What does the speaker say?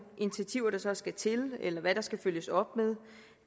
initiativer der så skal til eller hvad der skal følges op med